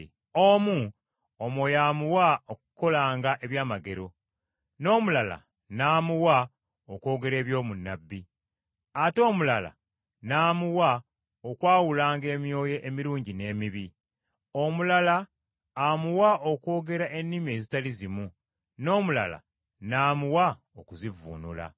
Omu, Omwoyo amuwa okukolanga ebyamagero, n’omulala n’amuwa okwogera eby’obunnabbi, ate omulala n’amuwa okwawulanga emyoyo emirungi n’emibi. Omulala amuwa okwogera ennimi ezitali zimu, n’omulala n’amuwa okuzivvuunula.